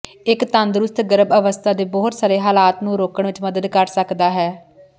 ਇੱਕ ਤੰਦਰੁਸਤ ਗਰਭ ਅਵਸਥਾ ਦੇ ਬਹੁਤ ਸਾਰੇ ਹਾਲਾਤ ਨੂੰ ਰੋਕਣ ਵਿੱਚ ਮਦਦ ਕਰ ਸਕਦਾ ਹੈ